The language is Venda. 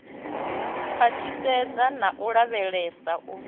khwaṱhisedza na u lavhelesa u